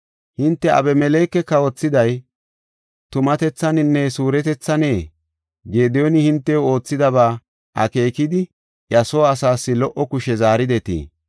“Hinte Abimeleke kawothiday tumatethaninne suuretethanee? Gediyooni hintew oothidaba akeekidi iya soo asaas lo77o kushe zaaridetii?